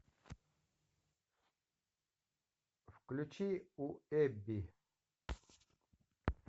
включи у эбби